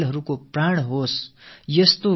விளையாட்டின் உயிர்ப்பு